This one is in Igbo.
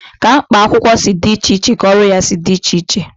Ka mkpa akwụkwọ si dị iche iche ka ọrụ ya si dị iche iche.